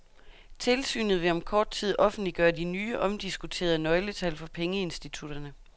Tilsynet vil om kort tid offentliggøre de nye, omdiskuterede nøgletal for pengeinstitutterne.